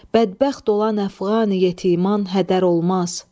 Bədbəxt olan əfqan yetiman hədər olmaz.